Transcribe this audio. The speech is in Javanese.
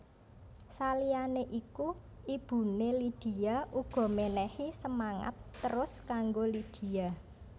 Saliyané iku ibuné Lydia uga menehi semangat terus kanggo Lydia